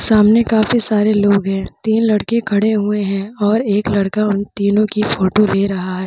सामने काफी सारे लोग हैं। तीन लड़के खड़े हुए हैं और एक लड़का उन तीनो की फोटो ले रहा है।